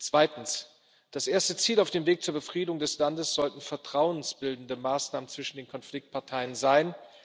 Zweitens Das erste Ziel auf dem Weg zur Befriedung des Landes sollten vertrauensbildende Maßnahmen zwischen den Konfliktparteien sein.